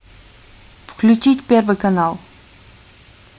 включить первый канал